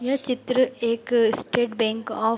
यह चित्र एक स्टेट बैंक ऑफ़ --